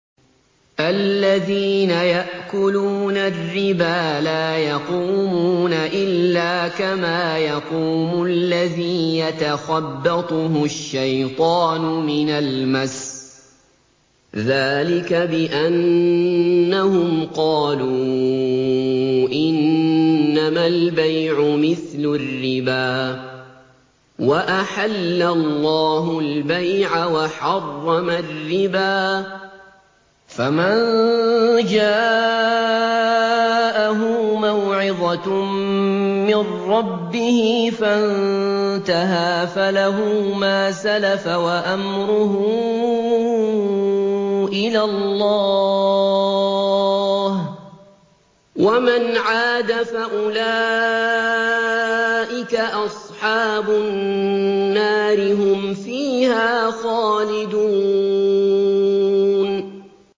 الَّذِينَ يَأْكُلُونَ الرِّبَا لَا يَقُومُونَ إِلَّا كَمَا يَقُومُ الَّذِي يَتَخَبَّطُهُ الشَّيْطَانُ مِنَ الْمَسِّ ۚ ذَٰلِكَ بِأَنَّهُمْ قَالُوا إِنَّمَا الْبَيْعُ مِثْلُ الرِّبَا ۗ وَأَحَلَّ اللَّهُ الْبَيْعَ وَحَرَّمَ الرِّبَا ۚ فَمَن جَاءَهُ مَوْعِظَةٌ مِّن رَّبِّهِ فَانتَهَىٰ فَلَهُ مَا سَلَفَ وَأَمْرُهُ إِلَى اللَّهِ ۖ وَمَنْ عَادَ فَأُولَٰئِكَ أَصْحَابُ النَّارِ ۖ هُمْ فِيهَا خَالِدُونَ